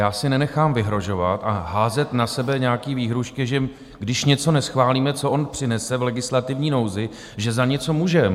Já si nenechám vyhrožovat a házet na sebe nějaké výhrůžky, že když něco neschválíme, co on přinese v legislativní nouzi, že za něco můžeme.